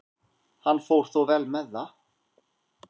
Hann fór þó vel með það.